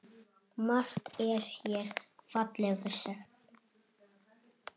Margt er hér fallega sagt.